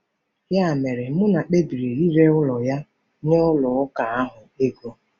Ya mere, Muna kpebiri ire ụlọ ya nye ụlọ ụka ahụ ego.